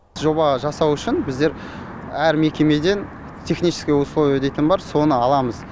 жоба жасау үшін біздер әр мекемеден техническое условие дейтін бар соны аламыз